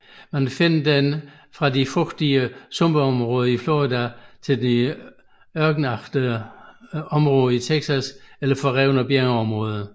Man finder den fra de fugtige sumpområder i Florida til ørkenagtige områder i Texas eller forrevne bjergområder